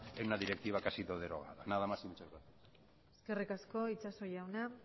en una directiva que ha sido derogada nada más y muchas gracias eskerrik asko itxaso jauna